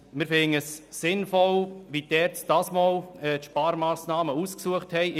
Wir finden es sinnvoll, wie die ERZ dieses Mal Sparmassnahmen ausgesucht hat.